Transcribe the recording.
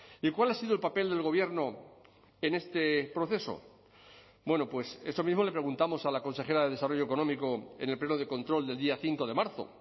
y cuál ha sido el papel del gobierno en este proceso bueno pues eso mismo le preguntamos a la consejera de desarrollo económico en el pleno de control del día cinco de marzo